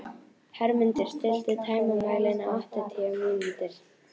Hermundur, stilltu tímamælinn á áttatíu mínútur.